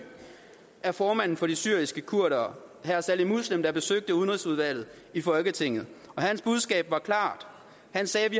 af formanden for de syriske kurdere saleh muslim der besøgte udenrigsudvalget i folketinget hans budskab var klart han sagde vi